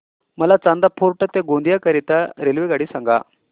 मला चांदा फोर्ट ते गोंदिया करीता रेल्वेगाडी सांगा